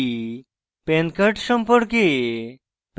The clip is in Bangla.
এখানে শিখেছি